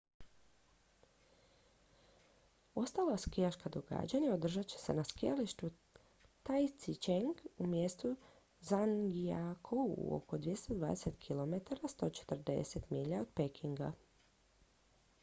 ostala skijaška događanja održat će se na skijalištu taizicheng u mjestu zhangjiakou oko 220 km 140 milja od pekinga